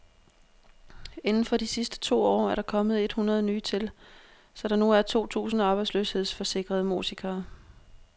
Indenfor de sidste to år er der kommet et hundrede nye til, så der nu er to tusind arbejdsløshedsforsikrede musikere.